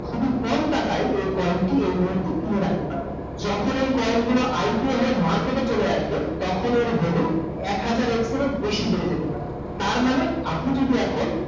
খুবই কম টাকায় এই মুহূর্তে এই coin টি কিনে রাখতে পারেন । যখন এই কইন গুলো আইচ হয়ে মারকেতে চলে আসবে, তখন এর ভালু, আক হাজার এর বেশি বেড়ে জেতে পারে।